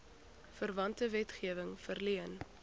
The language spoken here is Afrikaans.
verwante wetgewing verleen